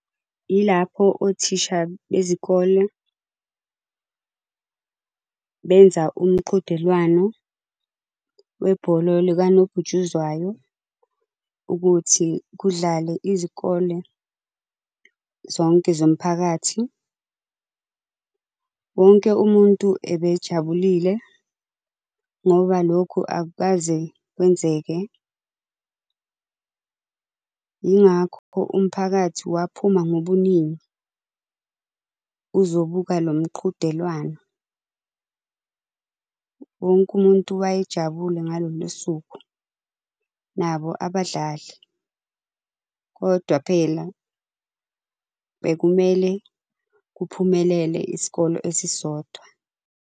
Ilapho othisha bezikole, benza umqhudelwano webhola likanobhutshuzwayo ukuthi kudlale izikole zonke zomphakathi. Wonke umuntu ebejabulile, ngoba lokhu akukaze kwenzeke. Yingakho umphakathi waphuma ngobuningi, uzobuka lo mqhudelwano. Wonke umuntu wayejabule ngalolo suku, nabo abadlali. Kodwa phela bekumele kuphumelele isikole esisodwa.